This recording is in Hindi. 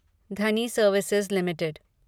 Dhani services limited